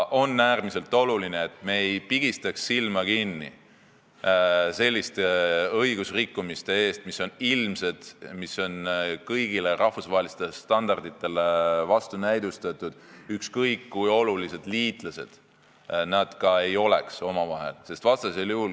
On äärmiselt oluline, et me ei pigistaks silma kinni selliste õigusrikkumiste ees, mis on ilmsed, mis on vastuolus kõigi rahvusvaheliste standarditega, ükskõik kui olulised liitlased me ka omavahel ei oleks.